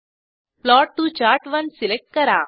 plot to चार्ट1 select करा